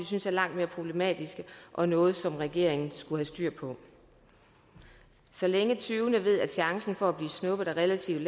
synes er langt mere problematiske og noget som regeringen skulle have styr på så længe tyvene ved at chancen for at blive snuppet er relativt